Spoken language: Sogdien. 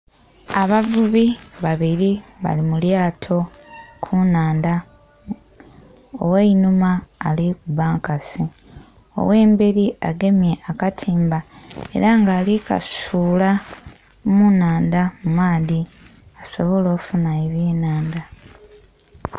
Abavubi babili bali mu lyato ku nnhandha. Ogh'einhuma ali kuba nkasi, ogh'embeli agemye akatimba, ela nga ali kasuula mu nnhandha mu maadhi, asobole ofuna ebyenhanda.